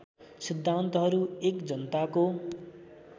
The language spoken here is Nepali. सिद्धान्तहरू १ जनताको